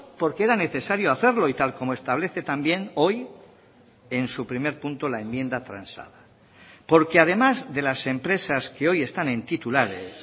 porque era necesario hacerlo y tal como establece también hoy en su primer punto la enmienda transada porque además de las empresas que hoy están en titulares